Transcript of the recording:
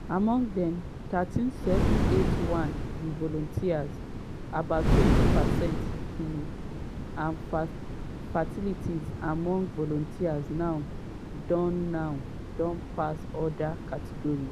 among dem 13781 be volunteers - about 20 percent - um and fatalities among volunteers now don now don pass oda categories.